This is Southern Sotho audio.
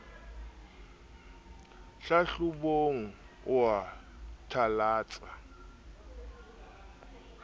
hlahlobong o a thalatsa o